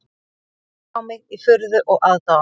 Hann horfði á mig í furðu og aðdáun